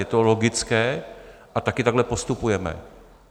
Je to logické a taky takhle postupujeme.